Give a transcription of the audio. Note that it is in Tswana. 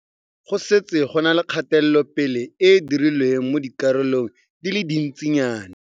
Go setse go na le kgatelopele e e dirilweng mo dikarolong di le dintsinyana.